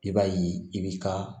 I b'a ye i bi ka